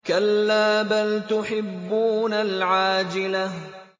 كَلَّا بَلْ تُحِبُّونَ الْعَاجِلَةَ